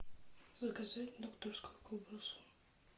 закажи докторскую колбасу